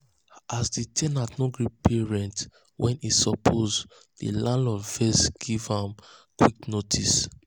as the ten ant no gree pay rent when e suppose the landlord vex give am vex give am quit um notice.